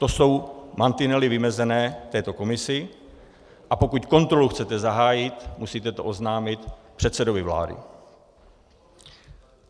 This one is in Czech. To jsou mantinely vymezené této komisi, a pokud kontrolu chcete zahájit, musíte to oznámit předsedovi vlády.